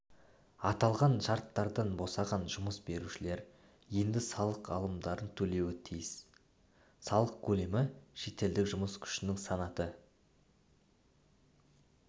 аталған шарттардан босаған жұмыс берушілер енді салық алымдарын төлеуі тиіс салық көлемі шетелдік жұмыс күшінің санаты